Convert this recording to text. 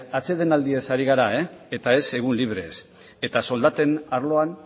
atsedenaldiaz ari gara eta ez egun librez eta soldaten arloan